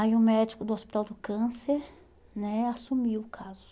Aí o médico do Hospital do Câncer né assumiu o caso.